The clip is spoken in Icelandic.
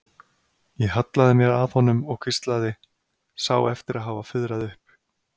Ég hallaði mér að honum og hvíslaði, sá eftir að hafa fuðrað upp.